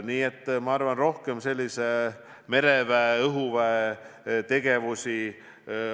Nii et rohkem sellist mereväe-õhuväe tegevust.